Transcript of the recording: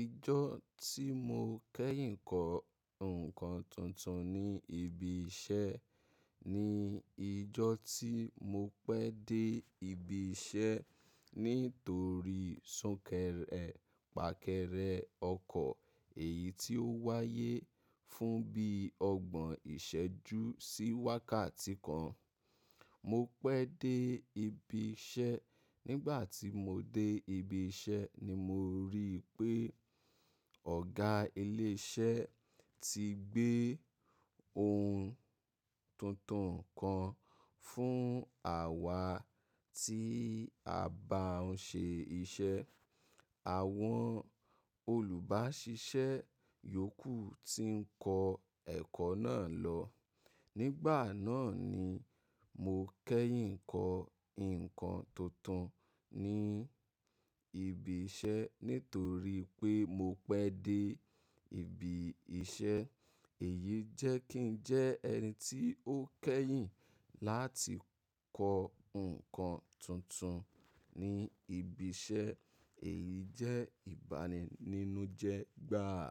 Ìjọ́ tí mo kẹ́yìn kọ ǹkan tuntun ní ibi iṣẹ́ ni ìjọ́ tí mo pẹ́ dé ibi iṣẹ́ nítorí súnkẹrẹ fàkẹrẹ ọkọ̀ èyí tí ó wáyé fún bí ọgbọ̀n ìṣẹ́jú sí wákàtí kan. Mo pẹ́ dé ibi iṣẹ́, nígbà tí mo dé ibi iṣẹ́ ni mo ríi pé ọ̀gá ilé iṣẹ́ ti gbé ohun tuntun kan fún àwa tí a bá ń ṣe iṣẹ́. Àwọn olùbáṣiṣẹ́ yòókù ti ń kọ ẹkọ náà lọ. Nígbà náà ni mo kẹ́yìn kọ ǹkan tuntun ní ibi iṣẹ́ nítorí pé mo pẹ́ dé ibi iṣẹ́. Èyí jẹ́ kí n jẹ́ ẹni tí ó kẹ́yìn láti kọ ǹkan tuntun ní ibi iṣẹ́. Èyí jẹ́ ìbaninújẹ gbáà.